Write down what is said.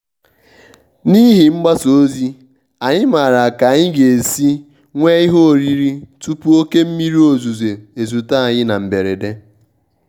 n'ihi mgbasa ozi anyị maara ka anyị ga-esi nwee ihe oriri tupu oke mmiri ozuzo ezute anyị na mberede.